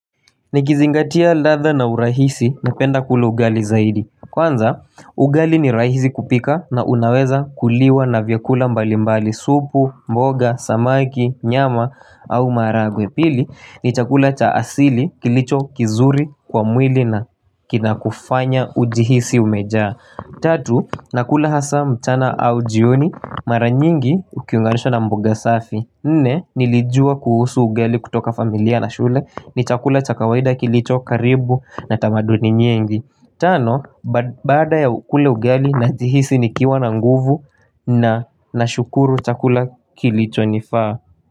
Nikizingatia ladhaa na urahisi napenda kula ugali zaidi Kwanza ugali ni rahisi kupika na unaweza kuliwa na vyakula mbali mbali supu, mboga, samaki, nyama au maharagwe. Pili ni chakula cha asili kilicho kizuri kwa mwili na kinakufanya ujihisi umejaa Tatu nakula haswa mchana au jioni mara nyingi ukiunganisha na mboga safi. Nne nilijua kuhusu ugali kutoka familia na shule, ni chakula cha kawaida kilicho karibu na tamaduni nyingi. Tano badaa ya kula ugali najihisi nikiwa na nguvu na nashukuru chakula kilicho nifaa.